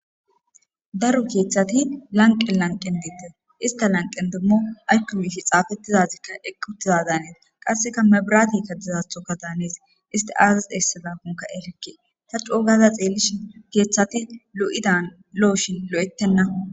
daro keeththati lanqen lanqen deettes ista lanqen dummo aykko mishi xaafettizazikka ekutiza daanees qasseka mebrati kadizathoka daanees isti aazazi esizakonka erikke ta coogaza xeellishi keeththati lo7idan lo7oshin lo7ettenna